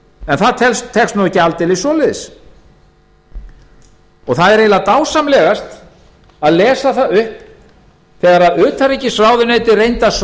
en það tekst nú ekki aldeilis það er eiginlega dásamlegast að lesa það upp þegar utanríkisráðuneytið reyndi að